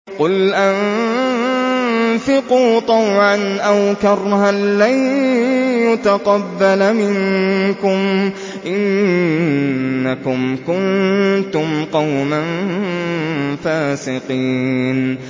قُلْ أَنفِقُوا طَوْعًا أَوْ كَرْهًا لَّن يُتَقَبَّلَ مِنكُمْ ۖ إِنَّكُمْ كُنتُمْ قَوْمًا فَاسِقِينَ